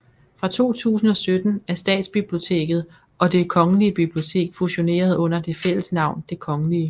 Fra 2017 er Statsbiblioteket og Det Kongelige Bibliotek fusioneret under det fælles navn Det Kgl